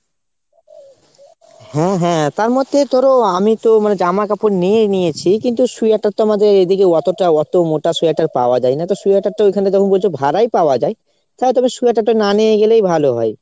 হ্যাঁ হ্যাঁ তার মধ্যে ধরো আমিতো মানে জামাকাপড় নিয়েই নিয়েছি কিন্তু sweater তো আমাদের এদিকে অতটা অত মোটা sweater পাওয়া যায় না। তো sweater তো ওখানে যখন বলছো ভাড়াই পাওয়া যায় তাহলে তো sweater টা না নিয়ে গেলেই ভালো হয়।